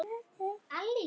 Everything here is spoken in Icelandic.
Þetta passar alveg.